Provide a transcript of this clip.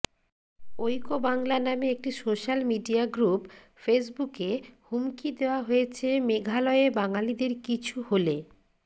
ঐক্য বাংলা নামে একটি সোশ্যাল মিডিয়া গ্রুপ ফেসবুকে হুমকি দেওয়া হয়েছে মেঘালয়ে বাঙালিদের কিছু হলে